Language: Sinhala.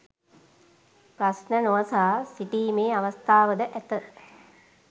ප්‍රශ්න නො අසා සිටිමේ අවස්ථාව ද ඇත